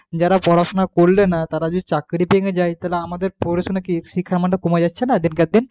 যারা পড়াশোনা করলে না তারা যদি চাকরি পেয়ে যায় তাহলে আমাদের পড়াশোনা কি শিক্ষার মানটা কমে যাচ্ছে না দিন কে দিন